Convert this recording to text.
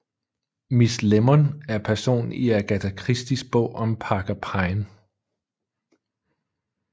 Miss Lemon er en person i Agatha Christies bog om Parker Pyne